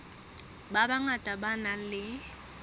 ba bangata ba nang le